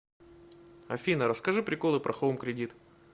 афина расскажи приколы про хоум кредит